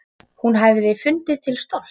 Hún hefði fundið til stolts.